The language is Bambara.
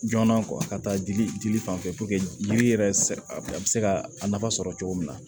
Joona ka taa dili dili fan fɛ yiri yɛrɛ a be se ka a nafa sɔrɔ cogo min na